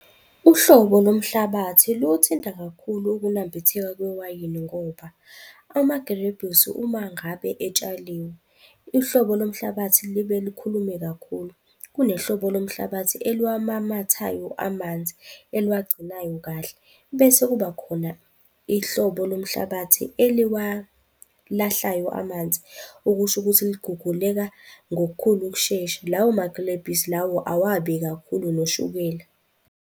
Uhlobo lomhlabathi luwuthinta kakhulu ukunambitheka kwewayini ngoba amagrebhisi uma ngabe etshaliwe, uhlobo lomhlabathi libe likhulume kakhulu. Kunehlobo lomhlabathi eluwamamathayo amanzi, eluwagcinayo kahle, bese kuba khona ihlobo lomhlabathi eliwalahlayo amanzi, okusho ukuthi liguguleka ngokukhulu ukushesha. Lawo magrebhisi lawo awabi kakhulu noshukela.